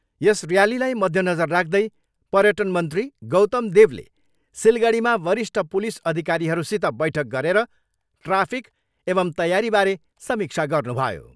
यस ऱ्यालीलाई मध्यनजर राख्दै पर्यटन मन्त्री गौतमदेवले सिलगढीमा वरिष्ठ पुलिस अधिकारीहरूसित बैठक गरेर ट्राफिक एवम् तैयारीबारे समीक्षा गर्नुभयो।